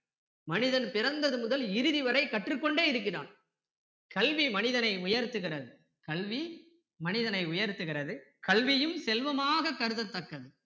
மனிதன் பிறந்தது முதல் இறுதி வரை கற்றுக்கொண்டே இருக்கிறான் கல்வி மனிதனை உயர்த்துகிறது கல்வி மனிதனை உயர்த்துகிறது கல்வியும் செல்வமாக கருதத்தக்கது